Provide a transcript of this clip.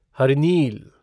हरिनील